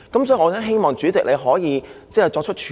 所以，我希望主席你可以作出處理。